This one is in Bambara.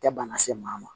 Tɛ bana se maa ma